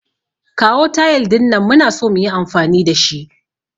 Kawo tayil din nan, muna so muyi amfani da shi.